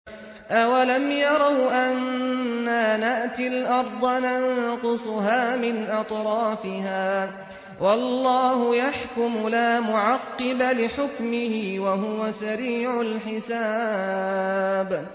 أَوَلَمْ يَرَوْا أَنَّا نَأْتِي الْأَرْضَ نَنقُصُهَا مِنْ أَطْرَافِهَا ۚ وَاللَّهُ يَحْكُمُ لَا مُعَقِّبَ لِحُكْمِهِ ۚ وَهُوَ سَرِيعُ الْحِسَابِ